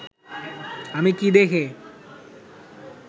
আমি কি দেখে